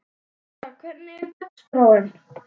Vera, hvernig er dagskráin?